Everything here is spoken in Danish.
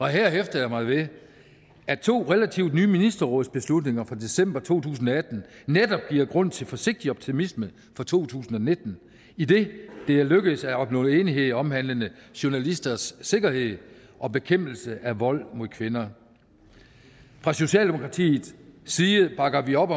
her hæfter jeg mig ved at to relativt nye ministerrådsbeslutninger fra december to tusind og atten netop giver grund til forsigtig optimisme for to tusind og nitten idet det er lykkedes at opnå enighed omhandlende journalisters sikkerhed og bekæmpelse af vold mod kvinder fra socialdemokratiets side bakker vi op